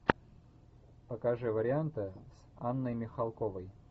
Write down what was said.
покажи варианты с анной михалковой